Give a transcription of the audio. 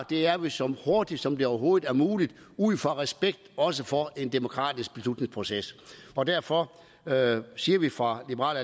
det er vi så hurtigt som det overhovedet er muligt ud fra respekten også for en demokratisk beslutningsproces og derfor siger vi fra liberal